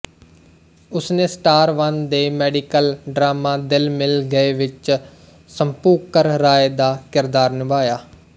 ਉਸਨੇ Star One ਦੇ medical drama Dil Mil Gaye ਵਿਚ ਸ਼ੁਭੰਕਰ ਰਾਏ ਦਾ ਕਿਰਦਾਰ ਨਿਭਾਇਆ